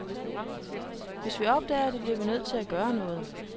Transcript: Hvis vi opdager det, bliver vi nødt til at gøre noget.